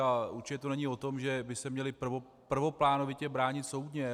A určitě to není o tom, že by se měli prvoplánovitě bránit soudně.